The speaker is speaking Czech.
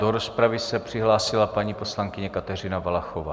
Do rozpravy se přihlásila paní poslankyně Kateřina Valachová.